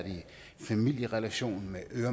høre